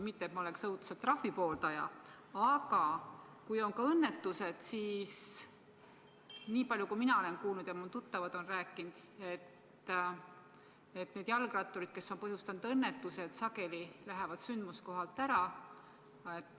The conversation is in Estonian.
Mitte et ma oleksin õudselt trahvide pooldaja, aga kui on ka õnnetused, siis niipalju, kui mina olen kuulnud ja mu tuttavad on rääkinud, need jalgratturid, kes on põhjustanud õnnetuse, sageli lähevad sündmuskohalt ära.